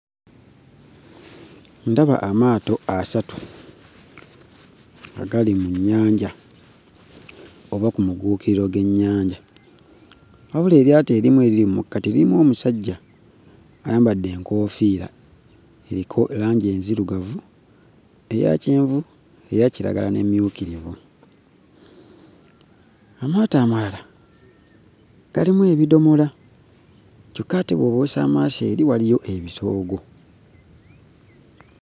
Ndaba amaato asatu agali mu nnyanja oba ku mugguukiriro gw'ennyanja. Wabula eryato erimu eriri mu makkati lirimu omusajja ayambadde enkoofiira eriko langi enzirugavu, eya kyenvu, eya kiragala n'emmyukirivu. Amaato amalala galimu ebidomola kyokka ate bw'obuusa amaaso eri waliyo ebitoogo.